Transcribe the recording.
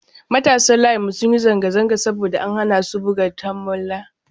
Matasan layinmu sun yi zanga-zanga saboda an hana su buga tamola.